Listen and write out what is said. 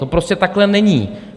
To prostě takhle není.